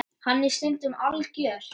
Hann er stundum algjör.